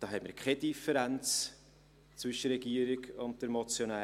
Da haben wir keine Differenz zwischen der Regierung und der Motionärin.